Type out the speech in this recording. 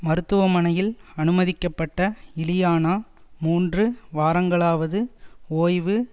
மருத்துவமனையில் அனுமதிக்கப்பட்ட இலியானா மூன்று வாரங்களாவது ஓய்வு